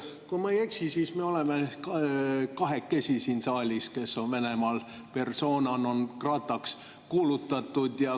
Kui ma ei eksi, siis me oleme sinuga kahekesi siin saalis need, kes on Venemaal persona non grata'ks kuulutatud.